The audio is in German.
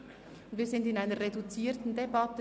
Wir führen eine reduzierte Debatte.